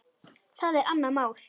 Það er annað mál.